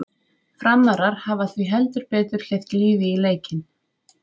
Framarar hafa því heldur betur hleypt lífi í leikinn!